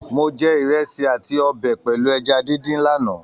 Mó jẹ ìrẹsì àti ọbẹ pẹlú ẹja díndín l'ana.